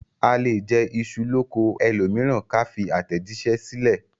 A lè jẹ iṣu l'oko ẹlòmíràn ká fi àtẹ̀jíṣẹ́ sílẹ̀